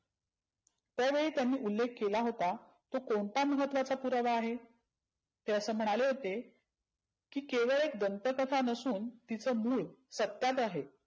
त्या वेळीत्यांनी उल्लेख केला होता. तो कोणता महत्वाचा पुरावा आहे? ते असं म्हणाले होते की केवळ एक दंत कथा नसून तिचं मुळ सतात आहे.